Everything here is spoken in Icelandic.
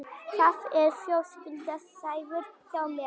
Það eru fjölskylduaðstæður hjá mér.